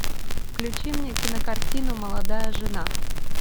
включи мне кинокартину молодая жена